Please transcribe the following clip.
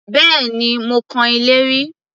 Bẹ́ẹ̀ni, mo kan ilé rí